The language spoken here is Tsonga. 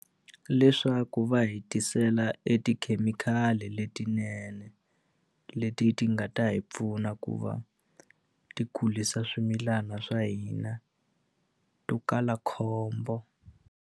Leswaku va hetisela e tikhemikhali letinene leti ti nga ta hi pfuna ku va ti kulisa swimilana swa hina to kala khombo.